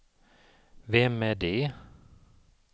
vem är det